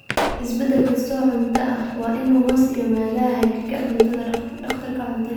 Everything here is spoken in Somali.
Isbeddel kasta oo cunto ah waa inuu hoos yimaadaa hagidda dhakhtarka cuntada.